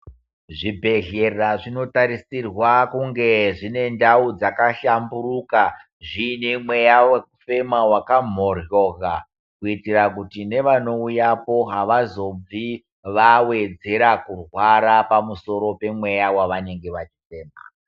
Zvibhedhlera zvinotarisira kunge zvine ndau dzakahlamburuka, zviine mweya wekufema wakamhoryoka kuitira kuti nevanouyapo avazobvi vawedzera kurwara pamusoro pemweya wavanenge vachifema.